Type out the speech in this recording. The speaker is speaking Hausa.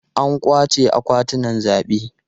An kwace akwatunan zabe.